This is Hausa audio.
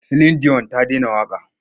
Silin diyon ta dena waƙa.